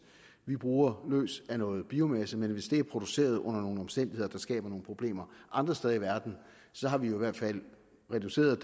vi bruger løs af noget biomasse men hvis det er produceret under nogle omstændigheder der skaber nogle problemer andre steder i verden har vi jo i hvert fald reduceret